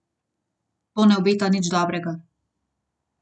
To ne obeta nič dobrega.